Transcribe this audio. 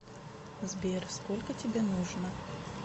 сбер сколько тебе нужно